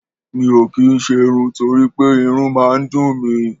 Mi ò kì í ṣerun torí pé irun máa ń dùn mi